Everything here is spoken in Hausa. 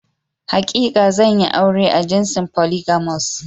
Hakika zanyi aure a jinsin "Polygamous ".